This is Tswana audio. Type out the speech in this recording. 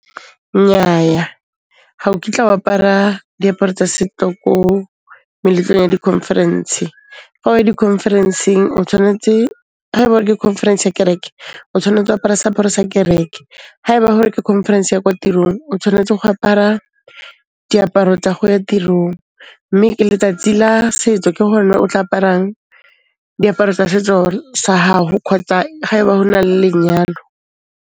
Nnyaya ga o kitla o apara diaparo tsa ko meletlong ya di-conference-e. Fa o ya di-conference-eng tsa kereke, o tshwanetse ho apara seaparo sa kereke. Ha e ba hore ke conference ya kwa tirong, o tshwanetse go apara diaparo tsa go ya tirong. Mme ke letsatsi la setso ke hone o tla aparang diaparo tsa setso sa hao kgotsa ha e ba ho na le lenyalo.